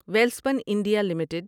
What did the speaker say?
Welspun India limited